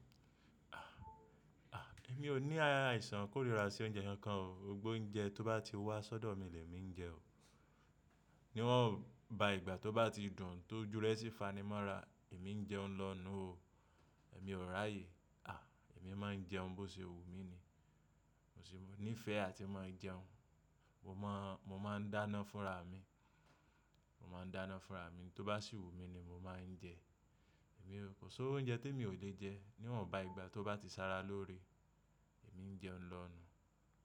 A! Èmi ò ní àìsàn kórìíra sí oúnjẹ nkàn. Gbogbo oúnjẹ tó bá ti wá sọ́dọ̀ mí lè mi ń jẹ o. Níwọn ba ìgbà tó bá ti dùn tó júrẹ́ sí fanimọ́ra èmi ń jẹun lonú o. Èmi ò ráyè. A! Èmi máa ń jẹun bó ṣe wù mí ni. Mò sì ní ìfẹ́ àti máa jẹun. Mo máà ń dáná fúnra mi. Mo máa ń dáná fúnra mi. N tó bá sì wù mí ni mo máa ń jẹ. Ko si iru oúnjẹ tí emi ò lè jẹ. Níwọn ba ìgbà tó bá ti sára lóre, èmi ń jẹun lọ̀nú.